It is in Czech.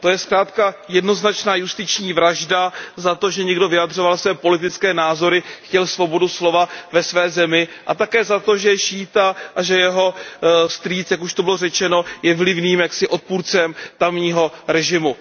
To je zkrátka jednoznačná justiční vražda za to, že někdo vyjadřoval svoje politické názory, chtěl svobodu slova ve své zemi a také za to, že je šíita a že jeho strýc, jak už tu bylo řečeno, je vlivným odpůrcem tamního režimu.